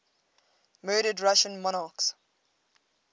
murdered russian monarchs